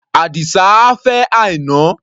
Àdìsá á fẹ́ Àìná.